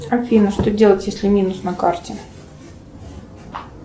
афина что делать если минус на карте